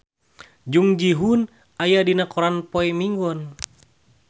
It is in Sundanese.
Jung Ji Hoon aya dina koran poe Minggon